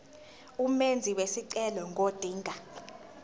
umenzi wesicelo ngodinga